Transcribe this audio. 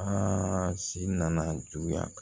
Aa si nana juguya